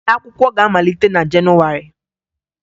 Ụlọakwụkwọ ga-amalite na Jenụwarị